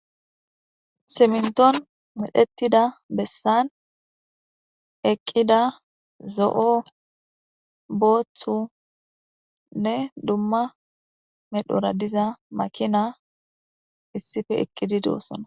Ciminton kexetida besan zo'o boothune duma medhora diza makinati issipe eqidi de'osona